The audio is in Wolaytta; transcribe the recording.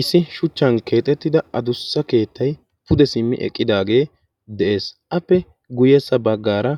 issi shuchchan keexettida adussa keettai pude simmi eqqidaagee de7ees appe guyyessa baggaara